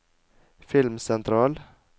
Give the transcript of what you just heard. filmsentral